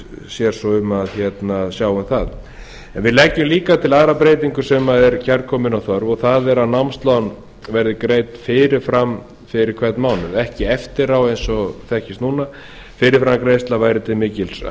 sér svo um að sjá um það en við leggjum líka til aðra breytingu sem er kærkomin og þörf og það er að námslán verði greidd fyrirfram fyrir hvern mánuð ekki eftirá eins og þekkist núna fyrirframgreiðsla væri til mikil